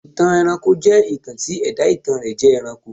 ìtàn ẹranko jẹ́ ìtàn tí ẹ̀dá ìtàn rẹ̀ jẹ́ ẹranko.